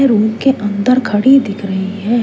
Room के अंदर घड़ी दिख रही है।